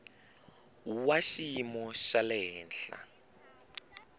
wa xiyimo xa le henhla